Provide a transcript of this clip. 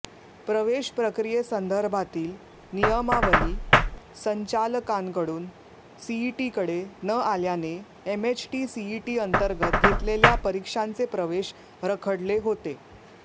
प्रवेश प्रक्रियेसंदर्भातील नियमावली संचालकांकडून सीईटीकडे न आल्याने एमएचटी सीईटीअंतर्गत घेतलेल्या परीक्षांचे प्रवेश रखडले होते